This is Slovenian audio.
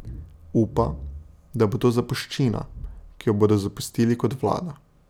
Upa, da bo to zapuščina, ki jo bodo zapustili kot vlada.